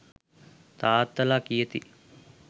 තාත්තලා කියති.